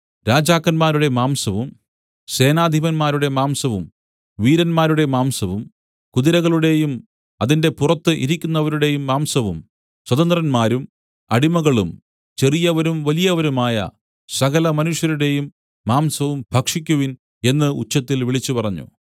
രാജാക്കന്മാരുടെ മാംസവും സേനാധിപന്മാരുടെ മാംസവും വീരന്മാരുടെ മാംസവും കുതിരകളുടെയും അതിന്റെ പുറത്തു ഇരിക്കുന്നവരുടെയും മാംസവും സ്വതന്ത്രന്മാരും അടിമകളും ചെറിയവരും വലിയവരുമായ സകലമനുഷ്യരുടെയും മാംസവും ഭക്ഷിക്കുവിൻ എന്നു ഉച്ചത്തിൽ വിളിച്ചുപറഞ്ഞു